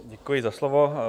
Děkuji za slovo.